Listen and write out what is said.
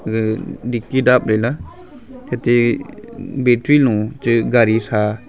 gaga dicky dap ley ate battery lun gaari sa.